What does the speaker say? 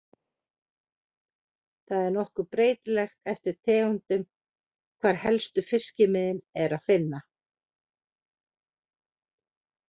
Það er nokkuð breytilegt eftir tegundum hvar helstu fiskimiðin er að finna.